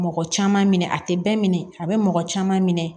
Mɔgɔ caman minɛ a tɛ bɛɛ minɛ a bɛ mɔgɔ caman minɛ